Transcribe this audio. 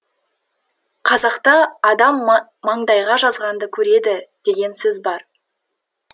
қазақта адам маңдайға жазғанды көреді деген сөз бар